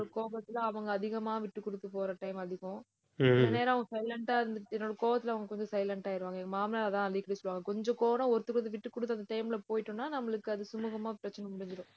கோபத்துல அவங்க அதிகமா விட்டுக் கொடுத்து போற time அதிகம். கொஞ்ச நேரம் silent ஆ இருந்துட்டு என்னோட கோவத்துல அவங்க கொஞ்சம் silent ஆயிடுவாங்க. எங்க மாமனார் தான் அடிக்கடி சொல்லுவாங்க. கொஞ்சம் கோவம் ஒருத்தருக்கு ஒருத்தர் விட்டுக்கொடுத்து அந்த time ல போயிட்டோம்னா நம்மளுக்கு அது சுமூகமா பிரச்சனை முடிஞ்சிடும்